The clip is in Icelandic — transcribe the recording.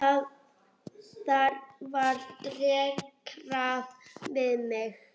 Þar var dekrað við mig.